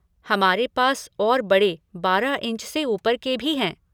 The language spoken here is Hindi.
हमारे पास और बड़े बारह इंच से ऊपर के भी हैं।